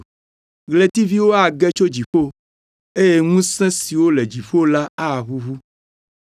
Ɣletiviwo age tso dziƒo, eye ŋusẽ siwo le dziƒo la aʋuʋu.’